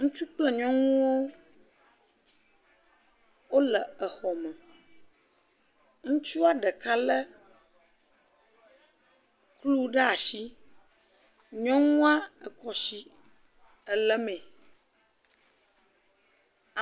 Ŋutsu kple nyɔnuwo, wole exɔ me, ŋutsua ɖeka lé kplu ɖe asi, nyɔnua ekɔ asi elémee.